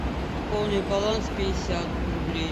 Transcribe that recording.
пополнить баланс пятьдесят рублей